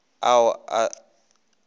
ao a se šego a